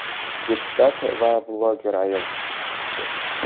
deputat va bloger ayol ishi.